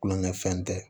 Kulonkɛfɛn tɛ